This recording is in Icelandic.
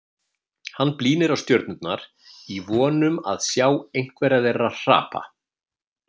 Hann blínir á stjörnurnar í von um að sjá einhverja þeirra hrapa.